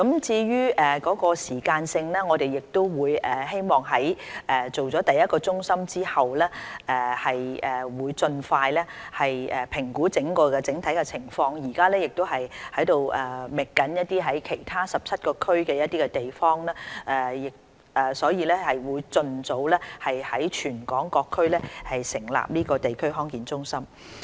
至於時間表，我們希望在開設第一個中心之後，盡快評估整體情況，目前亦正在其他17個地區覓尋地方，務求盡早在全港各區成立地區康健中心。